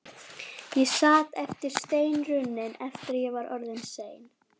Ég sat sem steinrunnin eftir að ég var orðin ein.